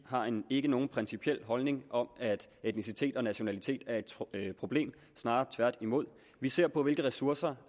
ikke har nogen principiel holdning om at etnicitet og nationalitet er et problem snarere tværtimod vi ser på hvilke ressourcer